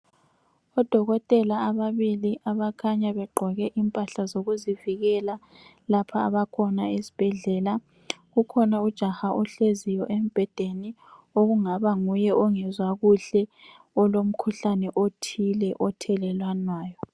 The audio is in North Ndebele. Odokotela ababili abakhanya begqoke impahla zokuzivikela lapha abakhona esibhedlela. Kukhona ujaha ohleziyo embhedeni okungaba nguye ongezwa kuhle olomkhuhlane othile othelelwanayo